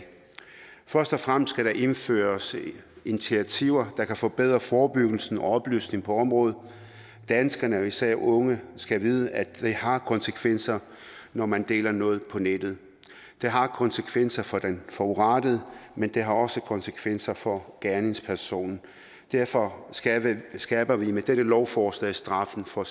først og fremmest skal der indføres initiativer der kan forbedre forebyggelse og oplysning på området danskerne og især de unge skal vide at det har konsekvenser når man deler noget på nettet det har konsekvenser for den forurettede men det har også konsekvenser for gerningspersonen derfor skærper vi med dette lovforslag straffen for